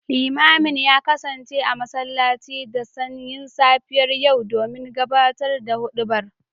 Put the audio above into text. Limamin ya kasance a masallaci da sanyin safiyar yau don gabatar da hudubar